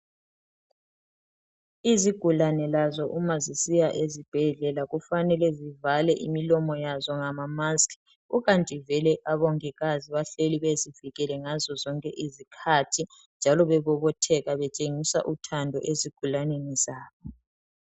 Izigulane lazo uma zisiya esibhedlela kufanele zivale imilomo yazo ngamamasiki. Ukanti vele abomongikazi bahleli bezivikele ngazo zonke izikhathi. Njalo bebobotheka betshengisa uthando ezigulaneni zabo.